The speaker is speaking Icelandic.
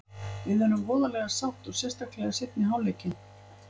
Við erum voðalega sátt og sérstaklega seinni hálfleikinn.